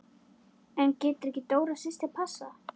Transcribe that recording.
En getur ekki Dóra systir passað?